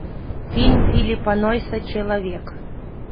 фильм филлипа нойса человек